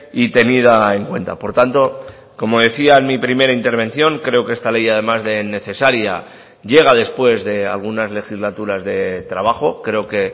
y tenida en cuenta por tanto como decía en mi primera intervención creo que esta ley además de necesaria llega después de algunas legislaturas de trabajo creo que